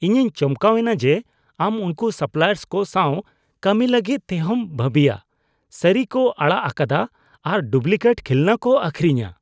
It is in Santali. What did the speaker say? ᱤᱧᱤᱧ ᱪᱚᱢᱠᱟᱣ ᱮᱱᱟ ᱡᱮ ᱟᱢ ᱩᱱᱠᱩ ᱥᱟᱯᱞᱟᱭᱟᱨᱥ ᱠᱚ ᱥᱟᱶ ᱠᱟᱹᱢᱤ ᱞᱟᱹᱜᱤᱫ ᱴᱮᱦᱚᱢ ᱵᱷᱟᱹᱵᱤᱭᱟ ᱥᱟᱹᱨᱤ ᱠᱚ ᱟᱲᱟᱜ ᱟᱠᱟᱫᱟ ᱟᱨ ᱰᱩᱵᱞᱤᱠᱮᱴ ᱠᱷᱤᱞᱚᱱᱟ ᱠᱚ ᱟᱹᱠᱷᱨᱤᱧᱟ ᱾